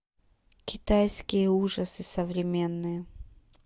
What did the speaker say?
китайские ужасы современные